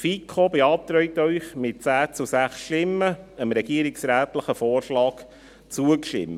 Die FiKo beantragt Ihnen mit 10 zu 6 Stimmen, dem regierungsrätlichen Vorschlag zuzustimmen.